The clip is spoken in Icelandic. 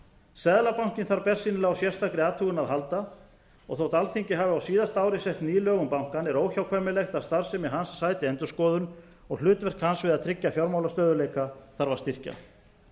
seðlabankinn þarf bersýnilega á sérstakri athugun að halda og þótt alþingi hafi á síðasta ári sett ný lög um bankann er óhjákvæmilegt að starfsemi hans sæti endurskoðun og hlutverk hans við að tryggja fjármálastöðugleika þarf að styrkja